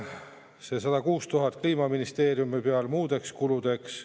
See 106 000 Kliimaministeeriumi peal muudeks kuludeks.